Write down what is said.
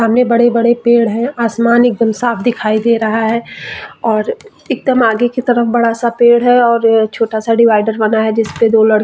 सामने बड़े - बड़े पेड़ है आसमान एकदम साफ दिखाई दे रहा है और एकदम आगे की तरफ बड़ा सा पेड़ है और छोटा सा डिवायडर बना है जिसपे दो लड़के --